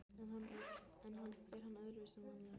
Er hann öðruvísi en vanalega?